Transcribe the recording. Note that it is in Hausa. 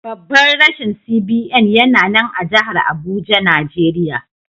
Babban rashin CBN yana nan a jahar Abuja, Najeriya.